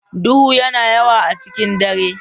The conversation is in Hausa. Duhu yana yawa a cikin dare.